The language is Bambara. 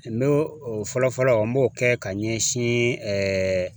N'o o fɔlɔfɔlɔ n b'o kɛ ka ɲɛsin